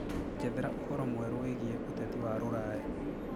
njethera ũhoro mwerũ wiĩgie uteti wa ruraya